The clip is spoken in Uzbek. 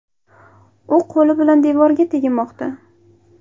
U qo‘li bilan devorga teginmoqda.